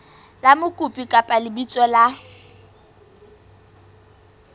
la mokopi kapa lebitso la